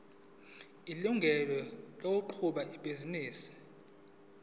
ilungelo lokuqhuba ibhizinisi